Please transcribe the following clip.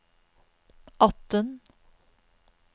atten